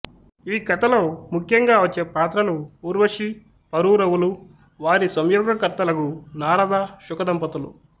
ఈ కథలో ముఖ్యంగా వచ్చే పాత్రలు ఊర్వశీ పురూరవులు వారి సంయోగకర్తలగు నారద శుకదంపతులు